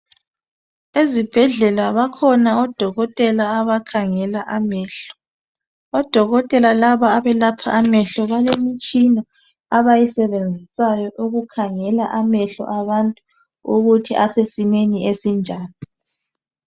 Ezibhedlela bakhona odokotela abakhangela amehlo. Odokotela laba abelapha amehlo balemitshina abayisebenzisayo ukukhangela amehlo abantu ukuthi asesimeni esinjani